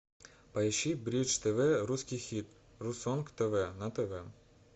поищи бридж тв русский хит русонг тв на тв